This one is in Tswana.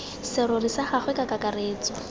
serori sa gagwe ka kakaretso